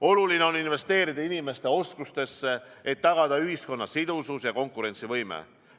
Oluline on investeerida inimeste oskustesse, et tagada ühiskonna sidusus ja konkurentsivõime.